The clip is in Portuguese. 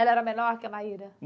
Ela era menor que a Maíra?